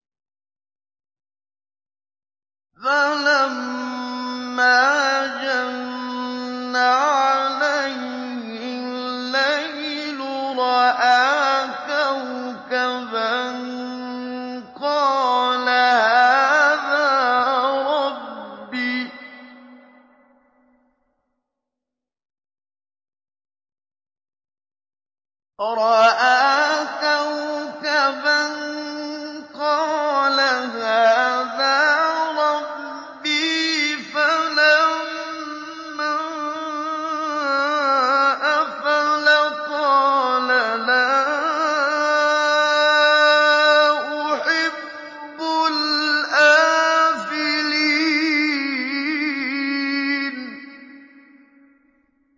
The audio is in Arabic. فَلَمَّا جَنَّ عَلَيْهِ اللَّيْلُ رَأَىٰ كَوْكَبًا ۖ قَالَ هَٰذَا رَبِّي ۖ فَلَمَّا أَفَلَ قَالَ لَا أُحِبُّ الْآفِلِينَ